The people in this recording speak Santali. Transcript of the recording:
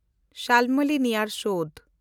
ᱥᱟᱞᱢᱟᱞᱤ ᱱᱤᱭᱟᱨ ᱥᱳᱰᱮ